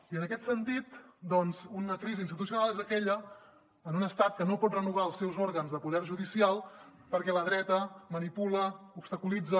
i en aquest sentit doncs una crisi institucional és aquella en un estat que no pot renovar els seus òrgans de poder judicial perquè la dreta manipula obstaculitza